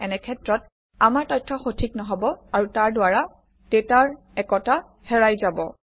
এনে ক্ষেত্ৰত আমাৰ তথ্য সঠিক নহব আৰু তাৰদ্বাৰা ডাটাৰ একতা হেৰাই যাব